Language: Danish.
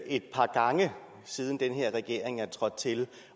et par gange siden den her regering er trådt til